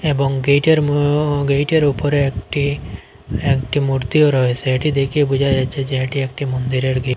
এবং গেইটের মো গেইটের ওপরে একটি একটি মূর্তিও রয়েসে এটি দেখে বোঝা যাচ্ছে যে এটি একটি মন্দিরের গে--